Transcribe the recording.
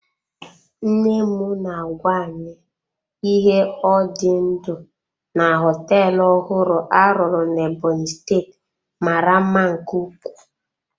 Nne m na-agwa anyị ihe ọ dị ndụ na họteelụ ọhụrụ a rụrụ na Ebonyi steeti mara mma nke ukwuu.